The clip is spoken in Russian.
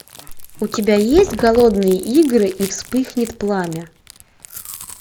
у тебя есть голодные игры и вспыхнет пламя